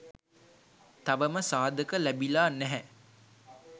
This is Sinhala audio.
තවම සාධක ලැබිලා නැහැ